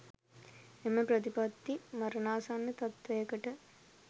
එම ප්‍රතිපත්තිය මරණාසන්න තත්ත්වයකට